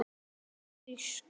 Hún var frísk.